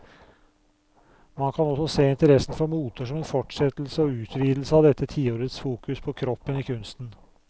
Man kan også se interessen for moter som en fortsettelse og utvidelse av dette tiårets fokus på kroppen i kunsten.